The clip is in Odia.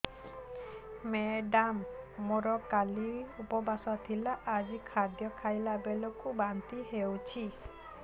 ମେଡ଼ାମ ମୋର କାଲି ଉପବାସ ଥିଲା ଆଜି ଖାଦ୍ୟ ଖାଇଲା ବେଳକୁ ବାନ୍ତି ହେଊଛି